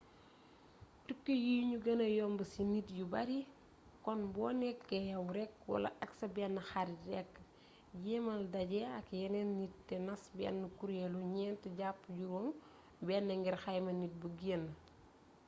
tukki yi ño gëna yomb ci nit yu bari kon bo nekké yaw rekk wala ak sa benn xarit rekk jéemal dajé ak yénéénni nit té nas bénn kuréllu gnént japp juroom bénn ngir xayma nit bu geen